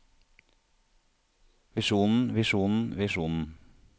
visjonen visjonen visjonen